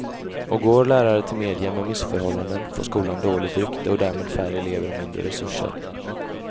Och går lärare till media med missförhållanden får skolan dåligt rykte och därmed färre elever och mindre resurser.